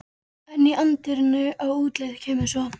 En í anddyrinu á útleið kemur svo